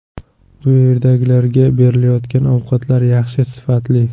Bu yerdagilarga berilayotgan ovqatlar yaxshi, sifatli.